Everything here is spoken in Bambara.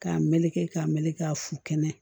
K'a meleke k'a meleke fu kɛnɛ